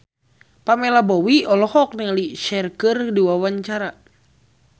Pamela Bowie olohok ningali Cher keur diwawancara